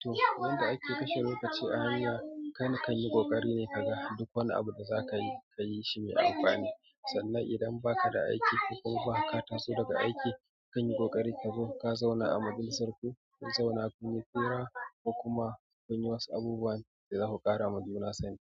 to idan yanda ake kashe lokaci a hanya kaini ka yi ƙoƙari ne ka ga duk wani abu da za ka yi ka yi shi mai amfani. Sannan idan ba ka da aiki ko kuma ka taso daga aiki ka yi ƙoƙari ka zo ka zauna a majalisar ku, ku zauna ku yi ƙira da kuma ku yi wasu abubuwan da za ku ƙara ma juna sani.